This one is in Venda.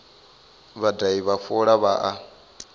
vhadahi vha fola vha a